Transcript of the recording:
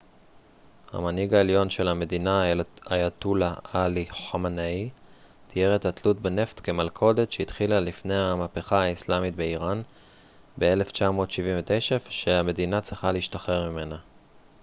המנהיג העליון של המדינה אייתוללה עלי ח'אמנאי תיאר את התלות בנפט כ מלכודת שהתחילה לפני המהפכה האיסלאמית באיראן ב-1979 ושהמדינה צריכה להשתחרר ממנה